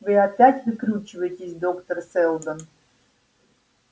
вы опять выкручиваетесь доктор сэлдон